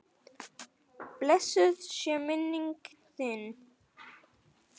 Blessuð sé minning þín, Eyþór.